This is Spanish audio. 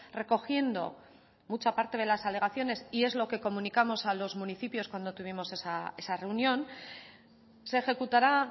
recogiendo mucha parte de las alegaciones y es lo que comunicamos a los municipios cuando tuvimos esa reunión se ejecutará